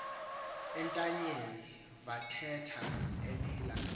entanyeni vathetha elila